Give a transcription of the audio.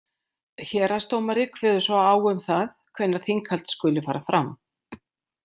Héraðsdómari kveður svo á um það hvenær þinghald skuli fara fram.